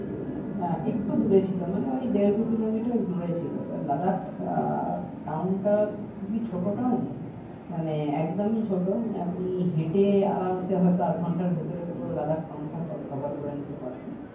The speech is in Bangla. আহ একটু দূরে ছিল মানে ওই দেড় দুই kilometer দূরে ছিল এবার Ladakh আহ town টা খুবই ছোট town মানে একদমই ছোটো মানে আপনি হেঁটে আরামসে হয়তো আধ ঘণ্টার ভেতরে পুরো Ladakhtown টা co cover নিতে পারবেন